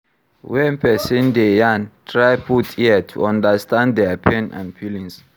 When person dey yarn, try put ear to understand their pain and feelings